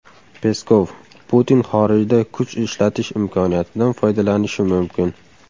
Peskov: Putin xorijda kuch ishlatish imkoniyatidan foydalanishi mumkin.